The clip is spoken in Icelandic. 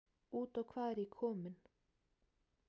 Út í hvað er ég kominn?